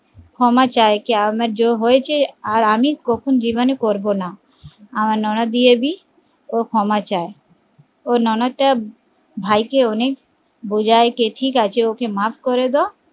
ক্ষমা চায় কে আমার জন্য হয়েছে আর আমি কখন জীবনে করবো না আমার নোনদেবী ও ক্ষমা চায় ও ননদ তা ভাই কে অনেক বোঝায় কে ঠিকাছে ওকে মাফ করে দাও